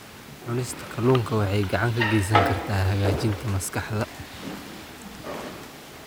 Cunista kalluunka waxay gacan ka geysan kartaa hagaajinta maskaxda.